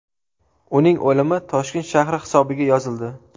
Uning o‘limi Toshkent shahri hisobiga yozildi.